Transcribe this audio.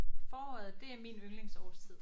Foråret det er min yndlingsårstid